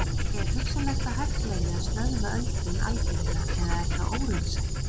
Er hugsanlegt að hægt verði að stöðva öldrun algjörlega eða er það óraunsætt?